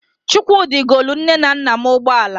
Chukwudi golu nne m na nna m ụgbọala.